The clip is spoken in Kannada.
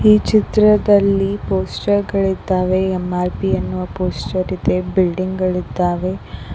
ಈ ಚಿತ್ರದಲ್ಲಿ ಪೋಸ್ಟರ್ ಗಳಿದ್ದಾವೆ ಎಂ_ಆರ್_ಪಿ ಎನ್ನುವ ಪೋಸ್ಟರ್ ಇದೆ ಬಿಲ್ಡಿಂಗ್ ಗಳಿದ್ದಾವೆ.